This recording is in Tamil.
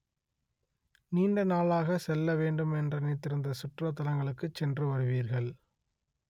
நீண்ட நாளாக செல்ல வேண்டுமென்று நினைத்திருந்த சுற்றுலா தலங்களுக்குச் சென்று வருவீர்கள்